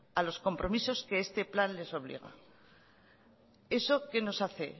a los compromisos que este plan les obliga eso qué nos hace